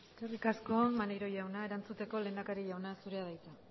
eskerrik asko maneiro jauna erantzuteko lehendakari jauna zurea da hitza